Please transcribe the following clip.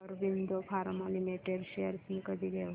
Aurobindo pharma limited shares मी कधी घेऊ